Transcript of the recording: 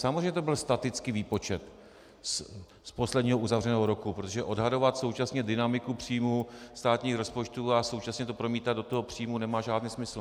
Samozřejmě to byl statický výpočet z posledního uzavřeného roku, protože odhadovat současně dynamiku příjmů státních rozpočtů a současně to promítat do toho příjmu nemá žádný smysl.